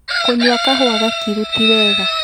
kũnyua kahua gakĩru ti wega